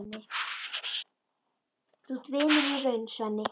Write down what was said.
Þú ert vinur í raun, Svenni.